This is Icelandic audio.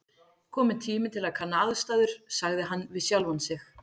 Kominn tími til að kanna aðstæður sagði hann við sjálfan sig.